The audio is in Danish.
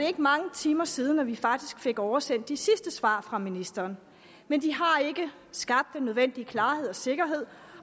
ikke mange timer siden at vi fik oversendt de sidste svar fra ministeren men de har ikke skabt den nødvendige klarhed og sikkerhed